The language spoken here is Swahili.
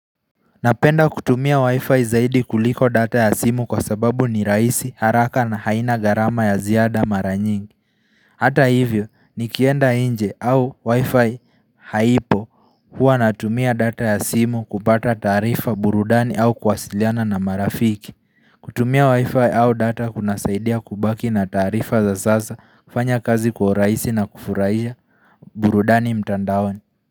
Napenda kutumia wifi zaidi kuliko data ya simu kwa sababu ni rahisi, haraka na haina garama ya ziada mara nyingi. Hata hivyo nikienda inje au wifi haipo huwa natumia data ya simu kupata taarifa, burudani au kwasiliana na marafiki kutumia wifi au data kunasaidia kubaki na taarifa za sasa, kufanya kazi kwa uraisi na kufurahisha burudani mtandaoni.